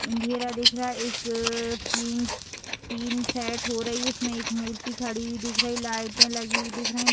अंधेरा दिख रहा है। एक टीम टीम सेट हो रही है। उसमें एक मूर्ति खड़ी हुई दिख रही लाइटें लगी हुई दिख रही --